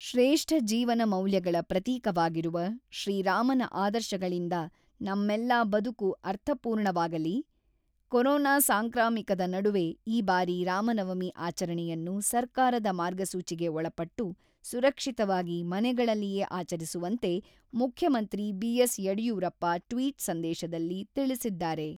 ಶ್ರೇಷ್ಠ ಜೀವನ ಮೌಲ್ಯಗಳ ಪ್ರತೀಕವಾಗಿರುವ ಶ್ರೀರಾಮನ ಆದರ್ಶಗಳಿಂದ ನಮ್ಮೆಲ್ಲ ಬದುಕು ಅರ್ಥಪೂರ್ಣವಾಗಲಿ, ಕೊರೋನಾ ಸಾಂಕ್ರಾಮಿಕದ ನಡುವೆ ಈ ಬಾರಿ ರಾಮ ನವಮಿ ಆಚರಣೆಯನ್ನು ಸರ್ಕಾರದ ಮಾರ್ಗಸೂಚಿಗೆ ಒಳಪಟ್ಟು ಸುರಕ್ಷಿತವಾಗಿ ಮನೆಗಳಲ್ಲಿಯೇ ಆಚರಿಸುವಂತೆ ಮುಖ್ಯಮಂತ್ರಿ ಬಿಎಸ್ ಯಡಿಯೂರಪ್ಪ ಟ್ವಿಟ್ ಸಂದೇಶದಲ್ಲಿ ತಿಳಿಸಿದ್ದಾರೆ.